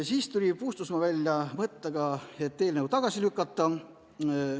Puustusmaa tuli välja mõttega eelnõu tagasi lükata.